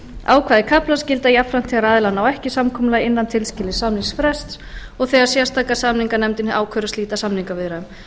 ákvæði kaflans gilda jafnframt þegar aðilar ná ekki samkomulagi innan tilskilins samningsfrests og þegar sérstaka samninganefndin ákveður að slíta samningaviðræðum